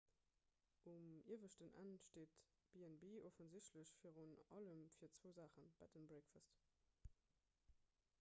um ieweschten enn steet b&b offensichtlech virun allem fir zwou saachen bed and breakfast